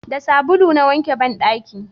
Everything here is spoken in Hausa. da sabulu na wanke banɗaki